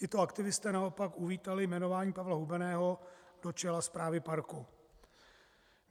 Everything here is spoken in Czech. Tito aktivisté naopak uvítali jmenování Pavla Hubeného do čela správy parku.